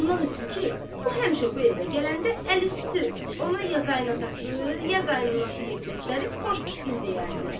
Ondan ötrü ki, o həmişə bu evə gələndə əl üstü ona ya qayınatası, ya qaynanası yer göstərib xoş dil deyərdilər.